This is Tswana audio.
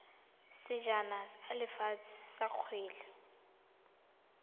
sejana sa lefatshe sa kgwele